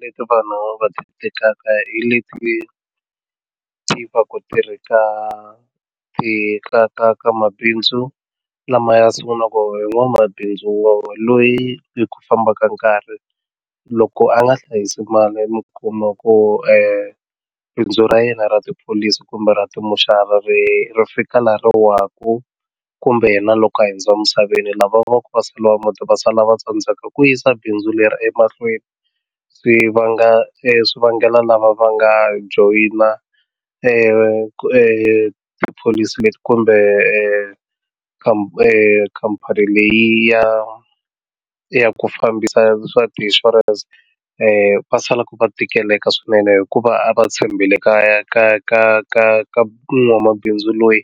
Leti vanhu va tekaka hi leti tivaku ti ri ka ti ka ka ka mabindzu lama ya sungulaka hi n'wamabindzu wa loyi hi ku fambaka nkarhi loko a nga hlayisi mali mi kuma ku bindzu ra yena ra tipholisi kumbe ra timoxari ri fika laha ri waku kumbe yena loko a hundza misaveni lava va ku va sala va muti va sala va tsandzeka ku yisa bindzu leri emahlweni swi vanga swivangelo lava va nga joyina tipholisi leti kumbe khampani leyi ya ya ku fambisa swa ti-insurance-i va sala ku va tikeleka swinene hikuva a va tshembele ka ka ka ka ka n'wamabindzu loyi